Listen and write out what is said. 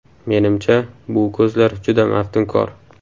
Menimcha, bu ko‘zlar juda maftunkor”.